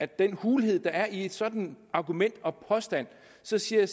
den hulhed der er i et sådant argument og påstand så siger